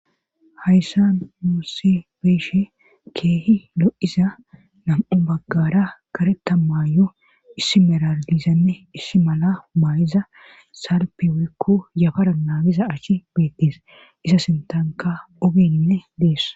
hayssan nusi be7ishe keehi lo7iza nam7u baggaara karetta maayuwa issi merara dizanne issi mala maayiza salppenkko yafara naagiza asi beettes;iza sinttanka ogeenne des.